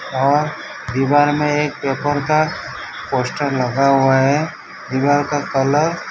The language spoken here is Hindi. बाहर दीवार में एक पेपर का पोस्टर लगा हुआ है दीवार का कलर --